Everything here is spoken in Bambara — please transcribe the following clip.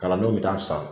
Kalandenw bɛ taa san